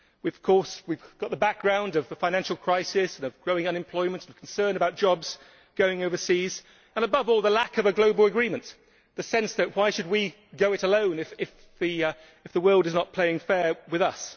Of course we have the background of the financial crisis and of growing unemployment, concern about jobs going overseas, and above all the lack of a global agreement the sense of Why should we go it alone if the world is not playing fair with us?'.